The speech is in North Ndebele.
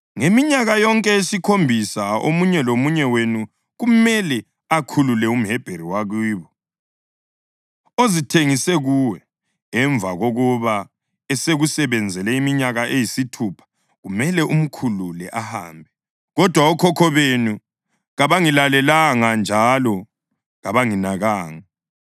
+ 34.14 UDutheronomi 15.12‘Ngeminyaka yonke yesikhombisa omunye lomunye wenu kumele akhulule umHebheru wakibo ozithengise kuwe. Emva kokuba esekusebenzele iminyaka eyisithupha, kumele umkhulule ahambe.’ Kodwa okhokho benu, kabangilalelanga njalo kabanginakanga.